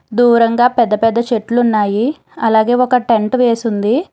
దూరంగా పెద్ద పెద్ద చెట్లు ఉన్నాయి అలాగే ఒక టెంట్ వేసి ఉంది.